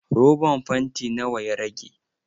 Roban fanti nawa ya rage?